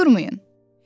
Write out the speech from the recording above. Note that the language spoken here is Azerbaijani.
Durmayın!